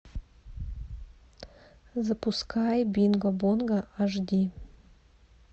запускай бинго бонго аш ди